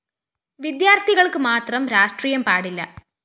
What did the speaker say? വിദ്യാര്‍ത്ഥികള്‍ക്ക് മാത്രം രാഷ്ട്രീയം പാടില്ല